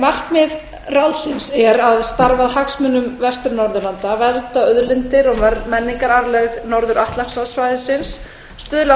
markmið ráðsins er að starfa að hagsmunum vestur norðurlanda vernda auðlindir og menningararfleið norður atlantshafssvæðisins stuðla að